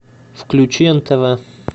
включи нтв